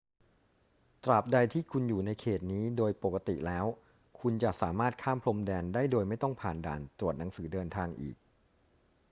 ตราบใดที่คุณอยู่ในเขตนี้ โดยปกติแล้วคุณจะสามารถข้ามพรมแดนได้โดยไม่ต้องผ่านด่านตรวจหนังสือเดินทางอีก